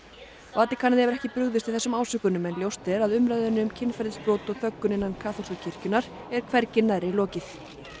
Vatíkanið hefur ekki brugðist við ásökununum en ljóst er að umræðunni um kynferðisbrot og þöggun innan kaþólsku kirkjunnar er hvergi nærri lokið